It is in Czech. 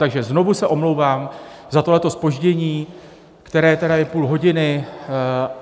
Takže znovu se omlouvám za tohleto zpoždění, které je tedy půl hodiny.